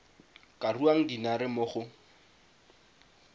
ka ruang dinare mo go